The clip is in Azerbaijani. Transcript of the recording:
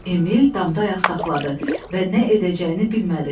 Emil damda ayaq saxladı və nə edəcəyini bilmədi.